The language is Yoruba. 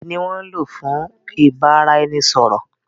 Èdè ni wọ́n ń lò fún ìbáraẹnisọ̀rọ̀.